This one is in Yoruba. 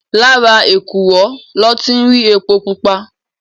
Làrá ékúrò lò ti n ri épó púpá